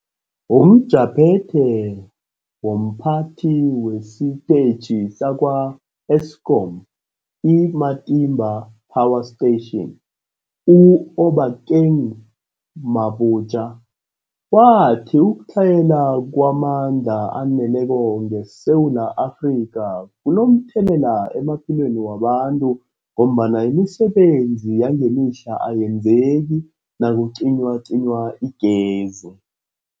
UmJaphethe womPhathi wesiTetjhi sakwa-Eskom i-Matimba Power Station u-Obakeng Mabotja wathi ukutlhayela kwamandla aneleko ngeSewula Afrika kunomthelela emaphilweni wabantu ngombana imisebenzi yangemihla ayenzeki nakucinywacinywa igezi.